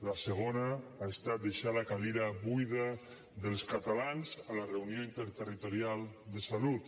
la segona ha estat deixar la cadira buida dels catalans a la reunió interterritorial de salut